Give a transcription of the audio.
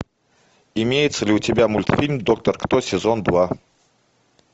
имеется ли у тебя мультфильм доктор кто сезон два